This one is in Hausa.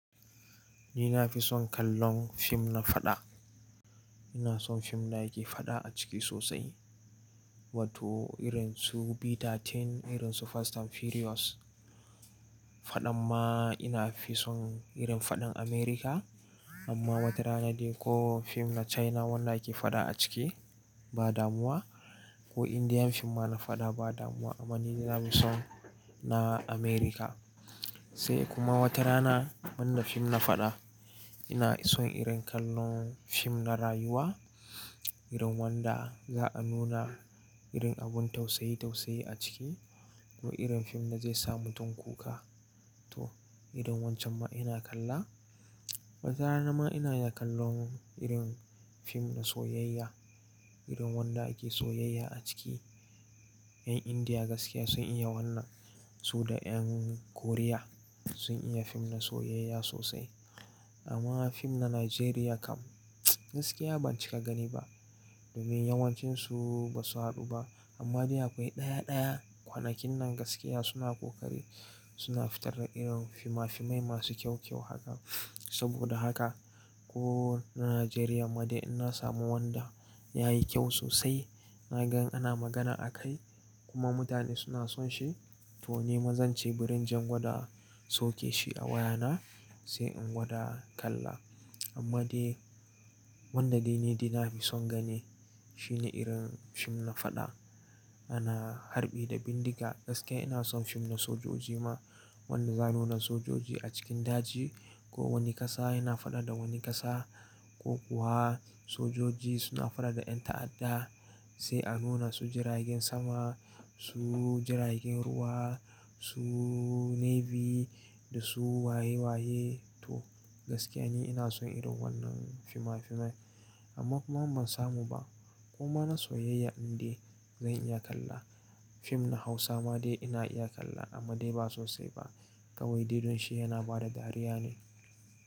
Ni na fi son kallon fim na faɗa. Ina son fim da yake faɗa a ciki sosai. Wato irin su Beta Teen, irin su Fast and Furious. Faɗan ma ina fi son irin faɗan America, amma wata rana dai ko fim na China wanda yake faɗa a ciki ba damuwa, ko Indian fim ma na faɗa ba damuwa. Amma ni na fi son na America. Sai kuma wata rana man da fim na faɗa ina son irin kallon fim na rayuwa, irin wanda za a nuna irin abun tausayi tausayi a ciki, ko irin fim da zai sa mutum kuka to irin wancan ma ina kalla. Wata rana ma ina iya kallon irin fim na soyayya, irin wanda ake soyayya a ciki. Yan India gaskiya sun iya wannan, su da yan Korea sun iya fim na soyayya sosai. Amma fim na Najeriya kam gaskiya ban cika gani ba domin yawancin su basu haɗu ba. Amma dai akwai ɗaya ɗaya kwanakin nan gaskiya suna kokari suna fitar da irin finafinai masu kyau kyau haka. Saboda haka ko na Najeriya ma dai in na samu wanda ya yi kyau sosai na ga ana magana a kai kuma mutane suna son shi to ni mazan ce bari inje in gwada sauke shi a wayana sai in gwada kalla. Amma dai wanda dai ni dai nafi son gani shi ne irin fim na faɗa. Ana harɓi da bindiga gaskiya ina son fim na sojoji ma wanda za a nuna sojoji a cikin daji ko wani ƙasa yana faɗa da wani ƙasa ko kuwa sojoji suna faɗa da yan ta'adda sai a nuna su jiragen sama, su jiragen ruwa, su navy da su waye waye to gaskiya ni ina son irin wannan finafinai. Amma kuma in ban samu ba. Kuma na soyayya in dai zan iya kalla. Fim na Hausa ma dai ina iya kalla amma dai ba sosai ba kawai dai don shi yana bada dariya ne.